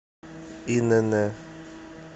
инн